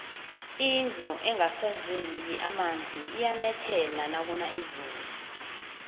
indlu engasezeli emonzi iyanethela nakuna izulu